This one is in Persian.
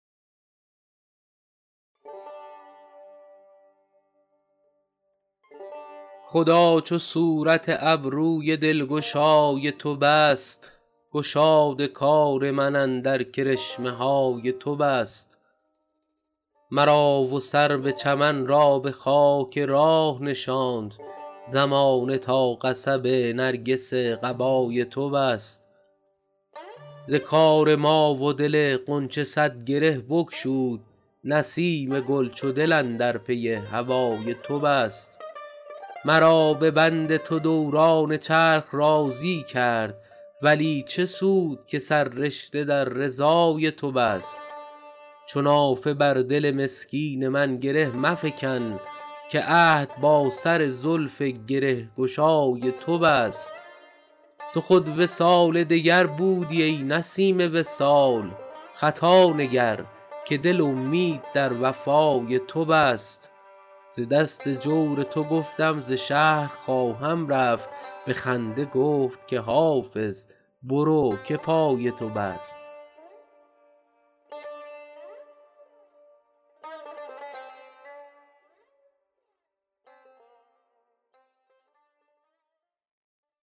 خدا چو صورت ابروی دلگشای تو بست گشاد کار من اندر کرشمه های تو بست مرا و سرو چمن را به خاک راه نشاند زمانه تا قصب نرگس قبای تو بست ز کار ما و دل غنچه صد گره بگشود نسیم گل چو دل اندر پی هوای تو بست مرا به بند تو دوران چرخ راضی کرد ولی چه سود که سررشته در رضای تو بست چو نافه بر دل مسکین من گره مفکن که عهد با سر زلف گره گشای تو بست تو خود وصال دگر بودی ای نسیم وصال خطا نگر که دل امید در وفای تو بست ز دست جور تو گفتم ز شهر خواهم رفت به خنده گفت که حافظ برو که پای تو بست